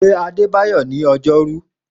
Pe Adébáyọ̀ ní ọjọ́rú.